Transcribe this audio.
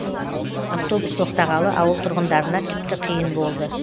автобус тоқтағалы ауыл тұрғындарына тіпті қиын болды